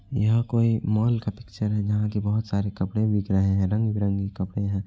यहाँ कोई मॉल का पिक्चर है। जहाँ की बहुत सारे कपड़े बिक रहे है रंग बिरंगे कपड़े हैं।